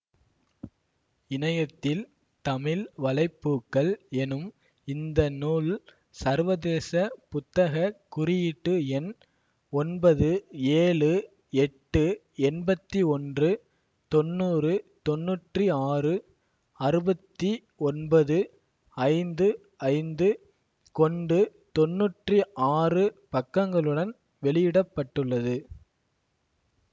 இணையத்தில் தமிழ் வலை பூக்கள் எனும் இந்த நூல் சர்வதேச புத்தக குறியீட்டு எண் ஒன்பது ஏழு எட்டுஎண்பத்தி ஒன்று தொண்நூறு தொண்ணுற்றி ஆறு அறுபத்தி ஒன்பது ஐந்து ஐந்து கொண்டு தொண்ணுற்றி ஆறு பக்கங்களுடன் வெளியிட பட்டுள்ளது